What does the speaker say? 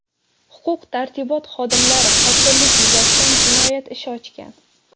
Huquq-tartibot xodimlari qotillik yuzasidan jinoyat ishi ochgan.